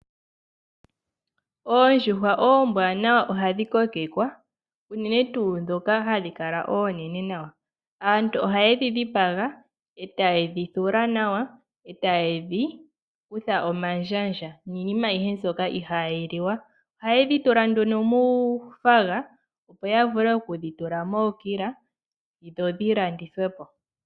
Oondjuhwa oombwaanawa ohadhi kokekwa, unene tuu dhoka hadhi kala oonene nawa. Aantu ohaye dhi dhipaga ,etaye dhi thula nawa, etaye dhi kutha omandjandja niinima ayehe mbyoka ihayi liwa. Ohaye dhi tula nduno muu faga, opo ya vule okudhitula mookila, dho dhi landithwe po.